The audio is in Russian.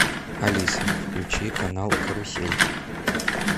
алиса включи канал карусель